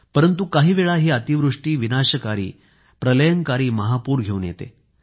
परंतु काहीवेळेस ही अतिवृष्टी विनाशकारी प्रलयंकारी महापूर घेऊन येते